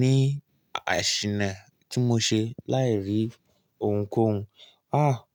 ní àsìṣẹ̀ náà tí mo ṣe láì rí ohunkóhun. Háà.